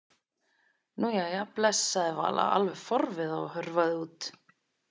Nú, jæja bless sagði Vala alveg forviða og hörfaði út.